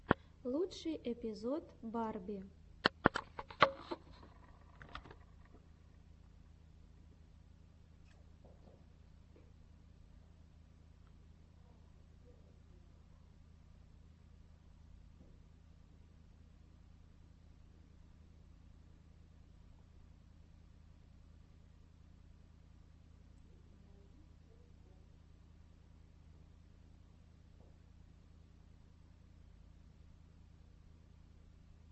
лучший эпизод барби